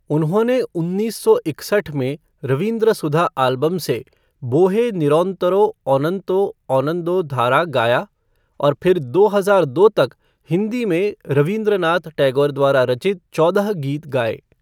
उन्होंने उन्नीस सौ इकसठ में रवीन्द्र सुधा एल्बम से 'बोहे निरन्तरो अनंत आनंदधारा' गाया और फिर दो हजार दो तक हिंदी में रवीन्द्रनाथ टैगोर द्वारा रचित चौदह गीत गाए।